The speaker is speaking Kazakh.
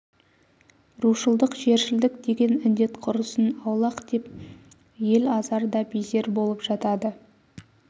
рушылдық жершілдік деген індет құрысын аулақ деп ел азар да безер болып жатады